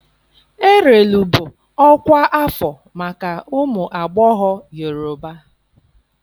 Erelu bụ ọkwa afọ maka ụmụ agbọghọ Yorùbá.